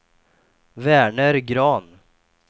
Verner Grahn